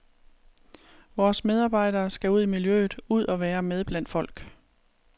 Vores medarbejdere skal ud i miljøet, ud og være med blandt folk.